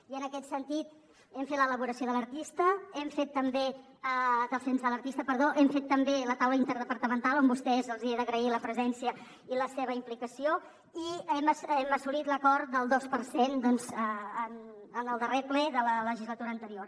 i en aquest sentit hem fet l’elaboració del cens de l’artista hem fet també la taula interdepartamental a vostès els he d’agrair la presència i la seva implicació i hem assolit l’acord del dos per cent doncs en el darrer ple de la legislatura anterior